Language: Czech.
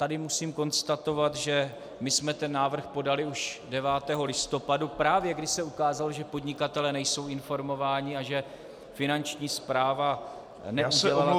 Tady musím konstatovat, že my jsme ten návrh podali už 9. listopadu, právě když se ukázalo, že podnikatelé nejsou informováni a že Finanční správa neudělala, co měla.